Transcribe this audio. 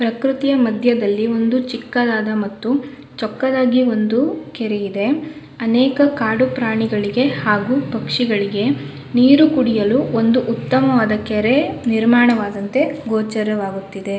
ಪೃಕೃತಿಯ ಮಧ್ಯದಲ್ಲಿ ಒಂದು ಚಿಕ್ಕದಾದ ಮತ್ತು ಚೊಕ್ಕದಾಗಿ ಒಂದು ಕೆರೆ ಇದೆ ಅನೇಕ ಕಾಡು ಪ್ರಾಣಿಗಳಿಗೆ ಹಾಗು ಪಕ್ಷಿಗಳಿಗೆ ನೀರು ಕುಡಿಯಲು ಒಂದು ಉತ್ತಮವಾದಂತಹ ಕೆರೆ ನಿರ್ಮಾಣವಾದಂತೆ ಗೋಚರವಾಗುತ್ತಿದೆ.